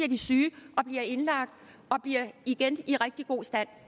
de syge og bliver indlagt og bliver igen i rigtig god stand